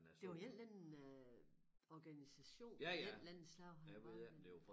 Det var en eller anden øh organisation af en eller anden slags han var han